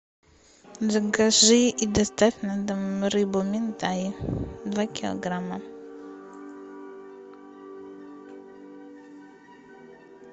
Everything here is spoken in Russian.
закажи и доставь на дом рыбу минтай два килограмма